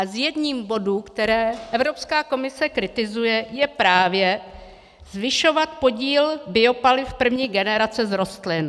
A jedním z bodů, které Evropská komise kritizuje, je právě zvyšovat podíl biopaliv první generace z rostlin.